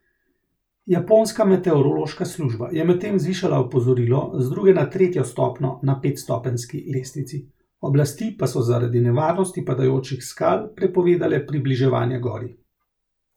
Japonska meteorološka služba je medtem zvišala opozorilo z druge na tretjo stopnjo na petstopenjski lestvici, oblasti pa so zaradi nevarnosti padajočih skal prepovedale približevanje gori.